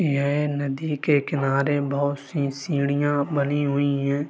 ये नदी के किनारे बहुत सी सीढ़ियां बनी हुई हैं।